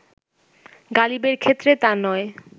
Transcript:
গালিবের ক্ষেত্রে তা নয়